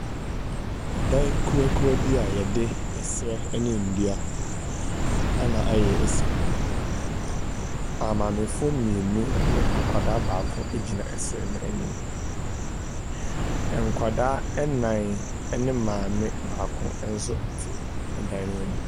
Dan kuruwakuruwa bi a yɛde nnua na srɛ na ayɛ si hɔ. amaamefo mmienu ne akwadaa baako gyina srɛ n’anim. Nkwadaa nnan ne maame baako nso te dan no anim.